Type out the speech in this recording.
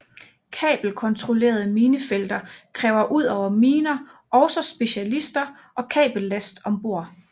Kabelkontrollerede minefelter kræver udover miner også specialister og kabellast om bord